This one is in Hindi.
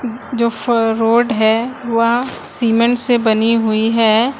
जो फ रोड है वा सीमेंट से बनी हुई हैं।